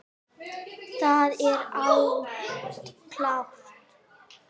Það er allt klárt.